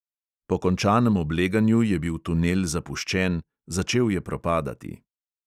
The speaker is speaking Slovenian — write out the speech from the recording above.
Po končanem obleganju je bil tunel zapuščen, začel je propadati.